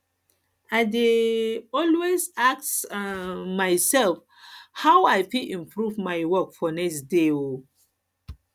i dey um always ask um myself how i fit improve my work for next day um